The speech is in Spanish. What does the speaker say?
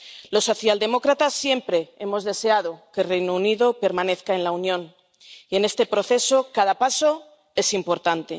Los socialdemócratas siempre hemos deseado que el Reino Unido permanezca en la Unión, y en este proceso cada paso es importante.